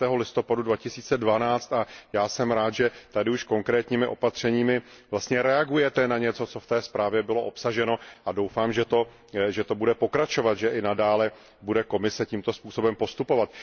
12. listopadu 2012 a já jsem rád, že tady už konkrétními opatřeními vlastně reagujete na něco, co v té zprávě bylo obsaženo a doufám, že to bude pokračovat, že i nadále bude Komise tímto způsobem postupovat.